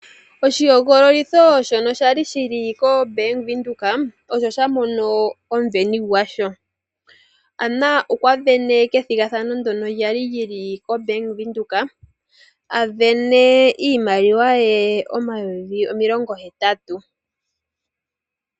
Oshihogololitho shono sha li koBank Windhoek osho sha mono omuveni gwasho. Anna okwa vene ethigathano ndyono lyali lyili koBank Windhoek a vene iimaliwa ye omayovi omilongo hetatu.